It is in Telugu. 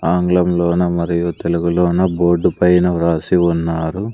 ఆంగ్లంలోన మరియు తెలుగులోనూ బోర్డు పైన వ్రాసి ఉన్నారు.